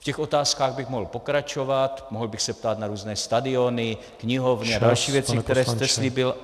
V těch otázkách bych mohl pokračovat, mohl bych se ptát na různé stadiony, knihovny a další věci, které jste slíbil.